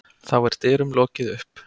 Þá er dyrum lokið upp.